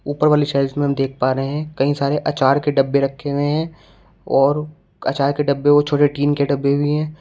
ऊपर वाली शेल्फ़ में हम देख पा रहे हैं कई सारे आचार के डब्बे रखे हुए हैं और आचार के डब्बे व छोटे टिन के डब्बे भी है।